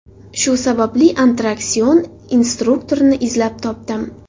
Shu sababli attraksion instruktorini izlab topdim.